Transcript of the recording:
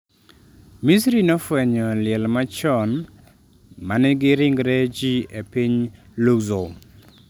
Misri nofwenyo liel machon manigi ringre ji e piny Luxor